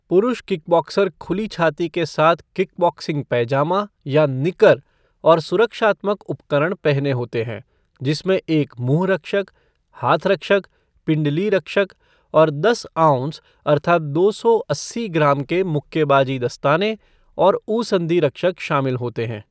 पुरुष किकबॉक्सर खुली छाती के साथ किकबॉक्सिंग पैजामा या निकर और सुरक्षात्मक उपकरण पहने होते हैं, जिसमें एक मुँह रक्षक, हाथ रक्षक, पिंडली रक्षक और दस आउंस अर्थात दो सौ अस्सी ग्राम के मुक्केबाजी दस्ताने और ऊसन्धि रक्षक शामिल होते हैं।